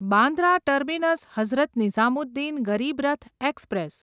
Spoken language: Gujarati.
Bandra terminus Hazrat Nizamuddin Garib Rath express